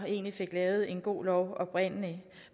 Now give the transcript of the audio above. egentlig fik lavet en god lov oprindelig